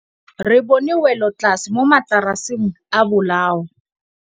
Re bone wêlôtlasê mo mataraseng a bolaô.